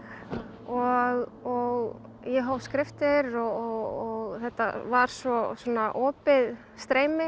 og ég hóf skriftir og þetta var svo opið streymi